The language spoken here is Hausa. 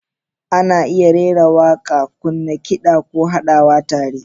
Ana iya rera waƙa, kunna kida, ko haɗawa tare.